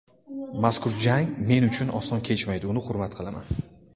Mazkur jang men uchun oson kechmaydi, uni hurmat qilaman.